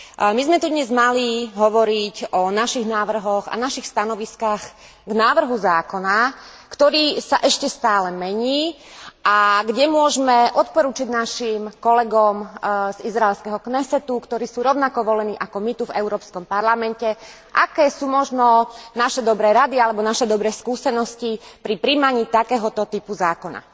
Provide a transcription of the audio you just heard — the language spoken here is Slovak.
My sme tu dnes mali hovoriť o našich návrhoch a našich stanoviskách k návrhu zákona, ktorý sa ešte stále mení, a kde môžme odporučiť našim kolegom z izraelského Knesetu, ktorí sú rovnako volení ako my tu v Európskom parlamente, aké sú možno naše dobré rady alebo naše dobré skúsenosti pri prijímaní takéhoto typu zákona.